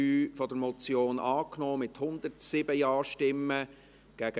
Sie haben die Ziffer 3 der Motion mit 107 Ja- gegen 43 Nein-Stimmen angenommen.